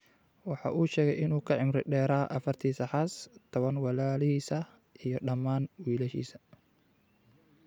Waxa uu sheegay in uu ka cimri dheeraa afartiisa xaas, tobaan walaalihiis ah iyo dhammaan wiilashiisa.